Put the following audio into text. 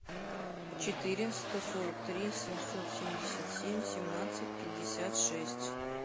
четыре сто сорок три семьсот семьдесят семь семнадцать пятьдесят шесть